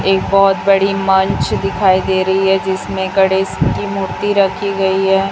एक बहुत बड़ी मंच दिखाई दे रही है जिसमें गणेश की मूर्ति रखी गई है।